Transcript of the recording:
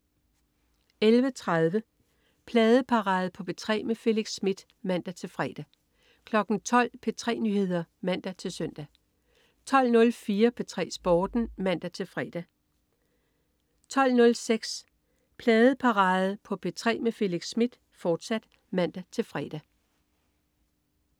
11.30 Pladeparade på P3 med Felix Smith (man-fre) 12.00 P3 Nyheder (man-søn) 12.04 P3 Sporten (man-fre) 12.06 Pladeparade på P3 med Felix Smith, fortsat (man-fre)